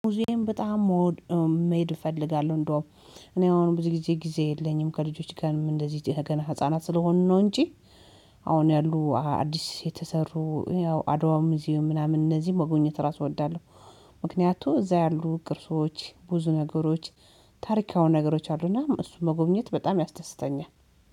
ሙዚየም በጣም መሆን መሄድ እፈልጋለሁ እንደውም እኔ አሁን ብዙ ጊዜ ጊዜ የለኝም ከልጆች ጋር እንደዚህ ገና ህፃናት ስለሆንን ነው እንጂ አሁን ያሉ አዲስ የተሰሩ ያው አድዋም ሙዝየም ምናምን እነዚህ መጎኘት ራሱ እወዳለሁ። ምክንያቱ እዛ ያሉ ቅርሶች ብዙ ነገሮች ታሪካዊ ነገሮች አሉና እሱን መጎብኘት በጣም ያስደስተኛል